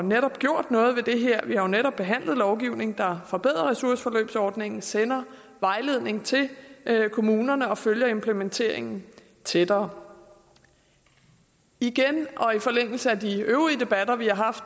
netop gjort noget ved det her vi har netop behandlet lovgivning der forbedrer ressourceforløbsordningen sender vejledning til kommunerne og følger implementeringen tættere igen og i forlængelse af de øvrige debatter vi har haft